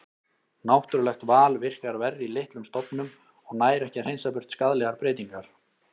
Náttúrulegt val virkar verr í litlum stofnum og nær ekki að hreinsa burt skaðlegar breytingar.